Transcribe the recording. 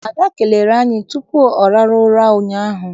Ada kelere anyị tupu ọ rahụ ụra ụnyaahụ.